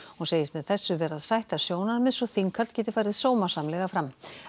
hún segist með þessu vera að sætta sjónarmið svo þinghald geti farið sómasamlega fram